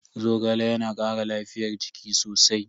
Zogale yana kara lafiyar jiki sosai.